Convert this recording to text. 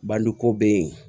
Bandi ko bɛ ye